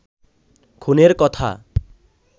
খুনের কথা